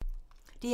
DR2